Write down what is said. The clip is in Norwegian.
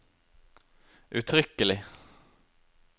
uttrykkelig